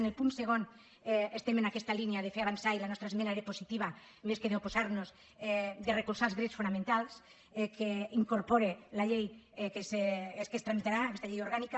en el punt segon estem en aquesta línia de fer avançar i la nostra esmena era positiva més que d’oposar nos de recolzar els drets fonamentals que incorpora la llei que es tramitarà aquesta llei orgànica